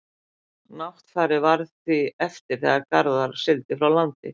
náttfari varð því eftir þegar garðar sigldi frá landinu